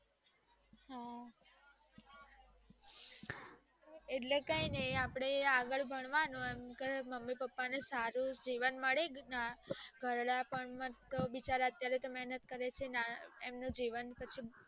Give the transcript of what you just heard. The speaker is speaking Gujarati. એટલે કઈ ની અપડે આગળ ભણવાનું આગળ મમ્મી પપ્પાન ને સાદું જીવન મળી જાય મને તો વિચાર આવે કે